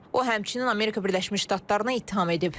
O həmçinin Amerika Birləşmiş Ştatlarını ittiham edib.